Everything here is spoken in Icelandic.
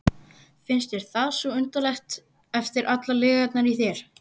Finnst þér það svo undarlegt eftir allar lygarnar í þér?